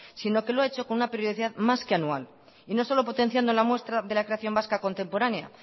sino que lo ha hecho con una periodicidad más que anual y no solo potenciando la muestra de la creación vasca contemporánea